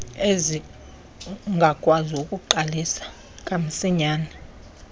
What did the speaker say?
ezingakwazi ukuqalisa kamsinyane